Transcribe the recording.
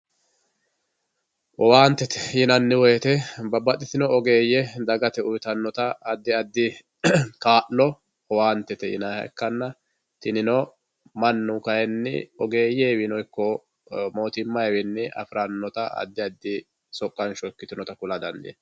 owaantete yinanni woyiite babaxitino ogeeyye dagate uyiitannota addi addi kaa'lo owaantete yinayiiha ikkanna tinino mannu kayiini ogeeyewiino ikko mootimmayiwiini afirannota addi addi soqansho ikkitinota kula dandiinayi.